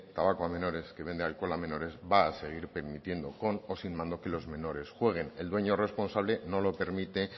tabaco a menores que vende alcohol a menores va a seguir permitiendo con o sin mando que los menores jueguen el dueño responsable no lo permite